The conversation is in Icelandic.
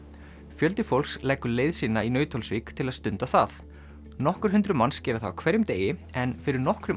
fjöldi fólks leggur leið sína í Nauthólsvík til að stunda það nokkur hundruð manns gera það á hverjum degi en fyrir nokkrum